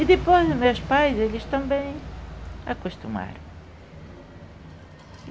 E depois os meus pais, eles também acostumaram.